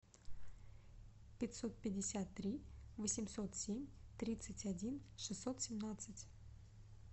пятьсот пятьдесят три восемьсот семь тридцать один шестьсот семнадцать